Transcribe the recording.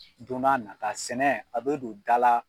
don n'a nata sɛnɛ a bɛ don da la